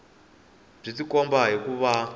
byi tikomba hi ku va